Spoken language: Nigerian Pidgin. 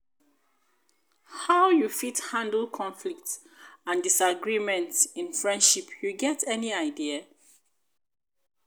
how you fit handle conflicts and disagreement in friendship you get any idea?